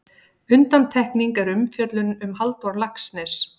Undantekning er umfjöllun um Halldór Laxness.